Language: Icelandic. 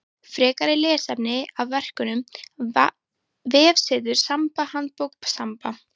Frekara lesefni af vefnum: Vefsetur Samba Handbók Samba.